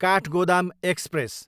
Kathgodam express